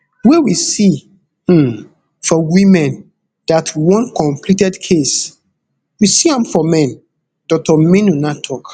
wey we see um for women dat one completed case we see am for men dr maynunah tok